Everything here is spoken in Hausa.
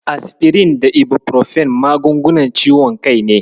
Asfirin da Ibufirofen magungunan ciwon kai ne.